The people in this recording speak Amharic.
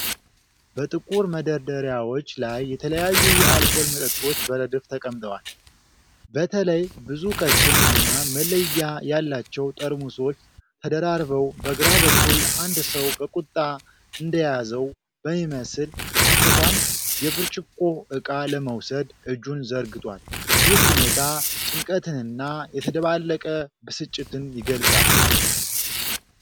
በጥቁር መደርደሪያዎች ላይ የተለያዩ የአልኮል መጠጦች በረድፍ ተቀምጠዋል። በተለይ ብዙ ቀጭን እና መለያ ያላቸው ጠርሙሶች ተደራርበው፣ በግራ በኩል አንድ ሰው በቁጣ እንደያዘው በሚመስል አኳኋን የብርጭቆ ዕቃ ለመውሰድ እጁን ዘርግቷል። ይህ ሁኔታ ጭንቀትንና የተደባለቀ ብስጭትን ይገልጻል።